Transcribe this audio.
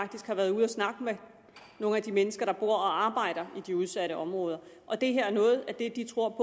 faktisk har været ude at snakke med nogle af de mennesker der bor og arbejder i de udsatte områder og det her er noget af det de tror